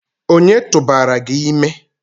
onye tụbara gi ime?